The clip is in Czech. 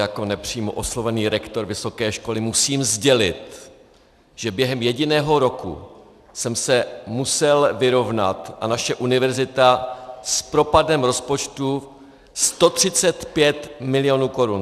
Jako nepřímo oslovený rektor vysoké školy musím sdělit, že během jediného roku jsem se musel vyrovnat, a naše univerzita, s propadem rozpočtu 135 milionů korun.